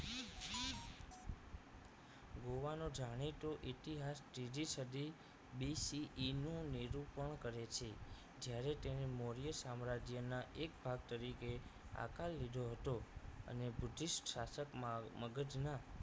ગોવાનો જાણીતો ઇતિહાસ JJ સધી BCE નું નિરૂપણ કરે છે જ્યારે તેને મૌર્ય સામ્રાજ્યના એક ભાગ તરીકે આકાર લીધો હતો અને બુધિષ્ટ શાસકમાં મગજ ના